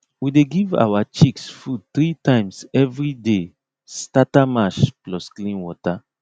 we dey give our chicks food three times everyday starter mash plus clean water